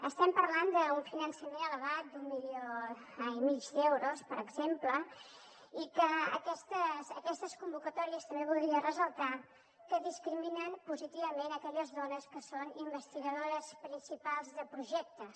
estem parlant d’un finançament elevat d’un milió i mig d’euros per exemple i que aquestes convocatòries també voldria ressaltar que discriminen positivament aquelles dones que són investigadores principals de projectes